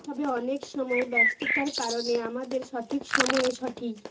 তবে অনেক সময় ব্যস্ততার কারণে আমাদের সঠিক সময়ে সঠি